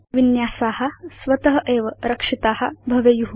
अस्माकं विन्यासा स्वत एव रक्षिता भवेयु